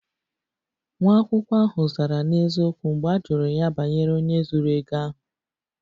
Nwa akwụkwọ ahụ zara n'eziokwu mgbe a jụrụ ya banyere onye zuru ego ahụ